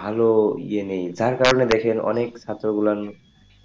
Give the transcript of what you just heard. ভালো ইয়ে নেই তার কারণে দেখেন অনেক ছাত্র গুলা